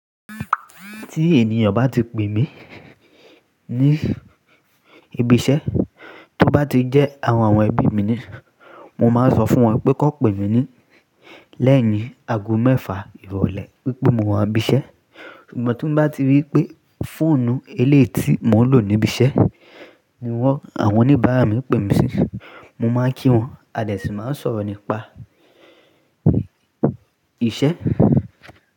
Tí ènìyàn bá ti pè mí ní ibi iṣẹ́ tó bá ti jẹ́ àwọn ebi mi ni, mo máa n sọ fún wọn pé kí wọ́n pè mí ní lẹ́yìn ago mẹ́fà ìrọ̀lẹ́ wípé mo wọ́n ibi iṣẹ́. Ṣùgbọ́n tí ń bá ti rí pé fóònù eléétí tí mò ń lò níbi iṣẹ́ ni wọ́n àwọn oníbàárà mi pè mí sí, mo máa kí wọn a dé sì máa sọ̀rọ̀ nípa iṣẹ́.